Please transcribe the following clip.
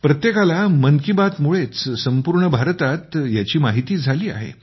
प्रत्येकाला मन की बात कार्यक्रमापासूनच संपूर्ण भारतात याची माहिती झाली आहे